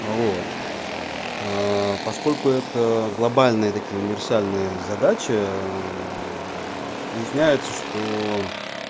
вот аа поскольку это глобальные такие универсальные задачи ээ вот выясняется что